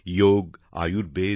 যোগ আয়ুর্বেদ